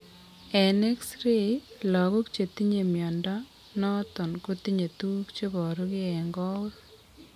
en X ray, lagok chetinye mnyondo noton kotinye tuguk cheboru gee en koweg